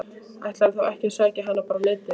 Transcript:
Ætlarðu þá ekki að sækja hana bara á Netið?